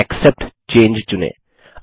तथा accept changes चुनें